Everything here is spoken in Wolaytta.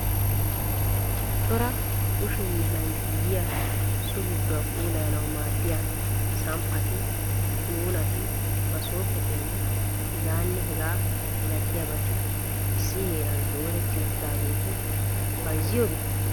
Cora kushe hiilan giigiya so gidduwa puulayanaw maaddiya samppati, qunuunati, maasopetinne heganne hegaa malatiyaabati issi heeran dooretti uttidaageeti bayzziyoobee ?